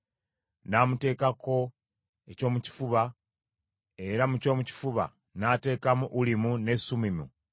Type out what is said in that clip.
N’amuteekako ekyomukifuba, era mu kyomukifuba n’ateekamu Ulimu ne Sumimu.